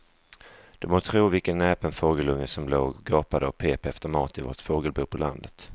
Du må tro vilken näpen fågelunge som låg och gapade och pep efter mat i vårt fågelbo på landet.